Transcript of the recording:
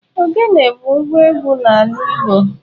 Ogene bụ ngwa egwú n'ala Igbo.